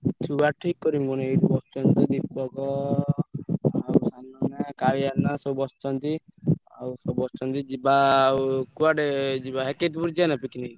ଛୁଆ ଠିକ୍ କରିବି ପୁଣି ଆଉ ଏଇଠି ବସିଛନ୍ତି ତ ଦୀପକ କାଳିଆନା ସବୁ ବସିଛନ୍ତି ଆଉ ସବୁ ବସିଛନ୍ତି ଯିବା ଆଉ କୁଆଡେ ଯିବା picnic ।